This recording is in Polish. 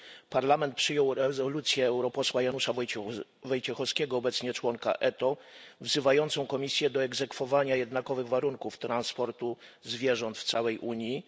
Parlament przyjął rezolucję europosła Janusza Wojciechowskiego, obecnie członka ETO, wzywającą Komisję do egzekwowania jednakowych warunków transportu zwierząt w całej Unii.